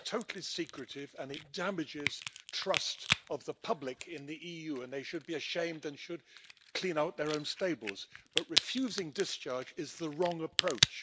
it's totally secretive and it damages trust of the public in the EU, and they should be ashamed and should clean out their own stables, but refusing discharge is the wrong approach.